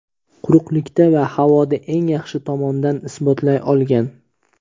quruqlikda va havoda eng yaxshi tomondan isbotlay olgan.